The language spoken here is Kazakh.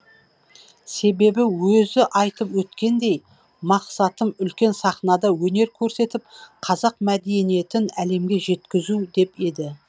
себебі өзі айтып өткендей мақсатым үлкен сахнада өнер көрсетіп қазақ мәдениетін әлемге жеткізу деп еді